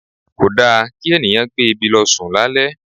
Kò da kí ènìyàn gbé ebi lọ sùn lálẹ́.